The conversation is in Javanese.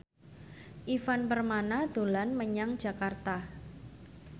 Ivan Permana dolan menyang Jakarta